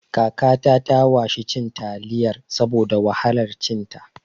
Kakata ta washi cin taliyar saboda wahalar cin ta